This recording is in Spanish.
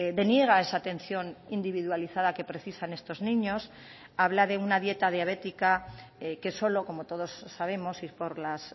deniega esa atención individualizada que precisan estos niños habla de una dieta diabética que solo como todos sabemos y por las